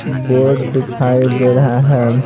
Board दिखाई दे रहा है।